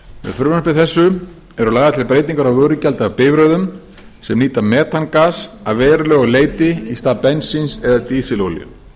frumvarpi þessu eru lagðar til breytingar á vörugjaldi af bifreiðum sem nýta metangas að verulegu leyti í stað bensíns eða dísilolíu